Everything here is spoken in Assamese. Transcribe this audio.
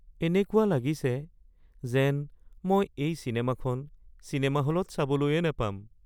এনেকুৱা লাগিছে যেন মই এই চিনেমাখন চিনেমা হলত চাবলৈয়ে নাপাম।